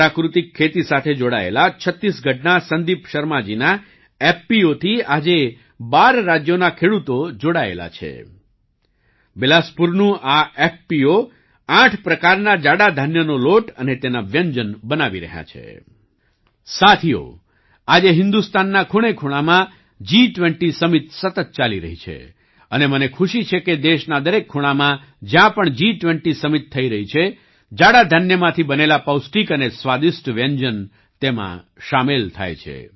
સાથીઓ આજે હિન્દુસ્તાનના ખૂણેખૂણામાં જી20 સમિટ સતત ચાલી રહી છે અને મને ખુશી છે કે દેશના દરેક ખૂણામાં જ્યાં પણ જી20 સમિટ થઈ રહી છે જાડા ધાન્ય મિલેટ્સ માંથી બનેલા પૌષ્ટિક અને સ્વાદિષ્ટ વ્યંજન તેમાં સામેલ થાય છે